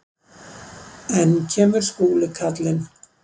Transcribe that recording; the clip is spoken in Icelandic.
Enn kemur Skúli karlinn.